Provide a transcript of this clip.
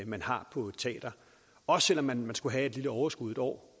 man har på et teater også selv om man skulle have et lille overskud et år